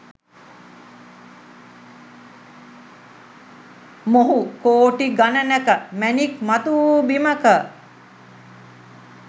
මොහු කෝටි ගණනක මැණික්‌ මතුවූ බිමක